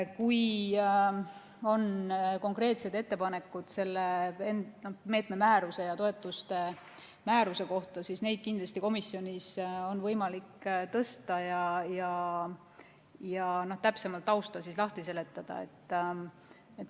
Kui on konkreetseid ettepanekuid selle meetme määruse ja toetuste määruse kohta, siis neid on kindlasti komisjonis võimalik teha ja tausta täpsemalt lahti seletada.